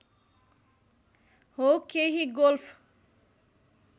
हो केही गोल्फ